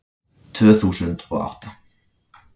Tvö þúsund og átta